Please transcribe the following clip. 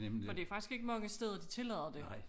For det faktisk ikke mange steder de tillader det